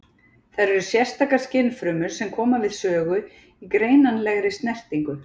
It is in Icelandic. Þær eru sérstakar skynfrumur sem koma við sögu í greinanlegri snertingu.